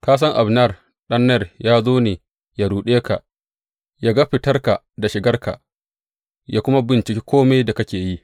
Ka san Abner ɗan Ner ya zo ne yă ruɗe ka, yă ga fitarka da shigarka, yă kuma binciki kome da kake yi.